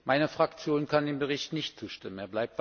Meine Fraktion kann dem Bericht nicht zustimmen.